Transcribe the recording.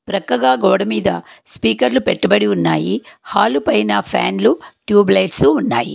ప్రక్కగా గోడమీద స్పీకర్లు పెట్టుబడి ఉన్నాయి హాలు పైన ఫ్యాన్లు ట్యూబ్ లైట్స్ ఉన్నాయి.